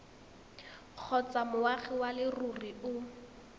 kgotsa moagi wa leruri o